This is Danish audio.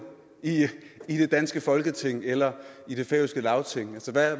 i det danske folketing eller i det færøske lagting